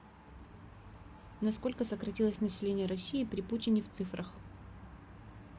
на сколько сократилось население россии при путине в цифрах